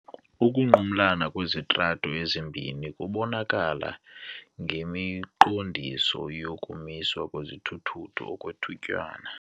Ukunqumlana kwezitrato ezibini kubonakala ngemiqondiso yokumiswa kwezithutho okwethutyana.